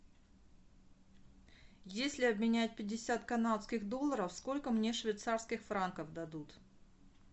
если обменять пятьдесят канадских долларов сколько мне швейцарских франков дадут